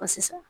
sisan